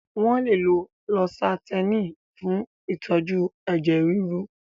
Wọ́n lè lo lósátẹ́ẹ̀nì fún ìtọ́jú ẹ̀jẹ̀ ríru.